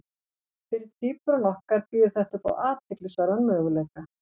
Fyrir tvíburana okkar býður þetta upp á athyglisverðan möguleika.